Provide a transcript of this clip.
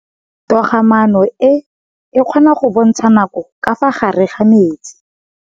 Toga-maanô e, e kgona go bontsha nakô ka fa gare ga metsi.